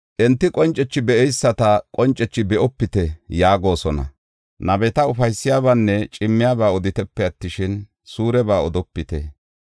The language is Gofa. Enti qoncethi be7eyisata, “Qoncethi be7opite” yaagosona. Nabeta, “Ufaysiyabaanne cimmiyaba oditepe attishin, suureba odopite.